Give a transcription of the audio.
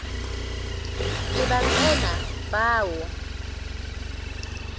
ke ba tsena ba o